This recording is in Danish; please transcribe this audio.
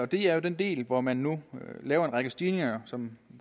det er den del hvor man nu laver en række stigninger som